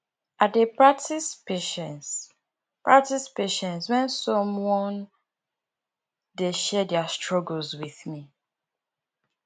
i dey practice patience practice patience when someone dey share their struggles with me